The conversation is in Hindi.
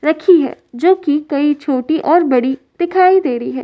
रखी है जो कि कई छोटी और बड़ी दिखाई दे रही हैं।